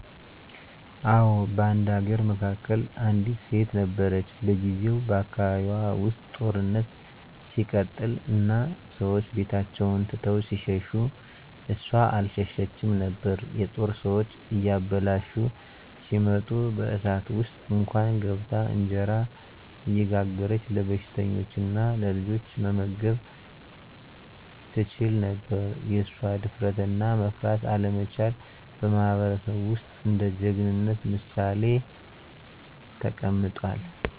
አዎ፣ በአንድ አገር መካከል አንዲት ሴት ነበረች። በጊዜው በአካባቢዋ ውስጥ ጦርነት ሲቀጥል እና ሰዎች ቤታቸውን ትተው ሲሸሹ እሷ አልሸሸችም ነበር። የጦር ሰዎች እያበላሹ ሲመጡ በእሳት ውስጥ እንኳን ገብታ እንጀራ እየጋገረች ለበሽተኞችና ለልጆች መመገብ ትችላ ነበር። የእሷ ድፍረትና መፍራት አለመቻል በማህበረሰቡ ውስጥ እንደ ጀግናነት ምሳሌ ተቀምጧል።